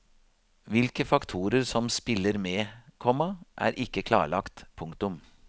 Hvilke faktorer som spiller med, komma er ikke klarlagt. punktum